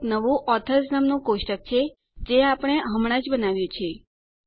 ત્યાં એક નવું ઓથર્સ નામનું કોષ્ટક છે જે આપણે હમણાં જ બનાવ્યું છે